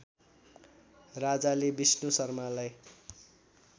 राजाले विष्णु शर्मालाई